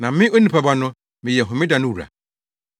Na me, Onipa Ba no, meyɛ Homeda no wura.”